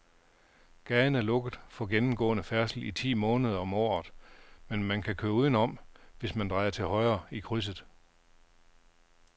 Gaden er lukket for gennemgående færdsel ti måneder om året, men man kan køre udenom, hvis man drejer til højre i krydset.